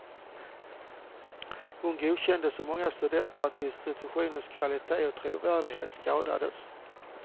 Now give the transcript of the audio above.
Hon godkänner så många studenter att institutionens kvalitet och trovärdighet skadas.